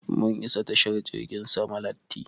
Mun isa tashar jirgin sama latti.